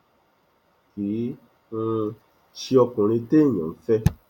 kì um í ṣe ọkùnrin téèyàn ń fẹ